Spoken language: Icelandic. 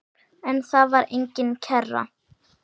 En þar var engin kerra.